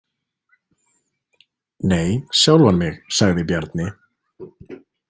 Nei, sjálfan mig, sagði Bjarni.